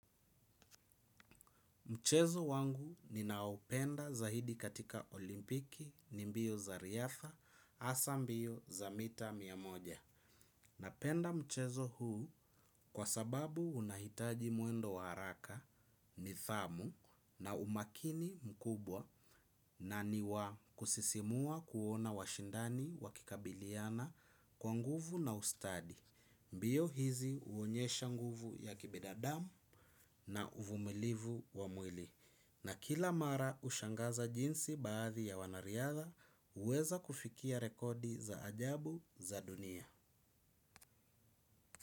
Mchezo wangu ninaopenda zaidi katika olimpiki ni mbio za riatha hasa mbio za mita mia moja. Napenda mchezo huu kwa sababu unahitaji mwendo wa haraka nidhamu na umakini mkubwa na niwa kusisimua kuona washindani wakikabiliana kwa nguvu na ustadi. Mbio hizi huonyesha nguvu ya kibinadamu na uvumilivu wa mwili. Na kila mara hushangaza jinsi baadhi ya wanariadha huweza kufikia rekodi za ajabu za dunia.